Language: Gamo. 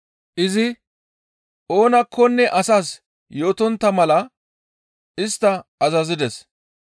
Izi oonakkonne asas yootontta mala istta azazides.